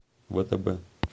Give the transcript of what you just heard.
втб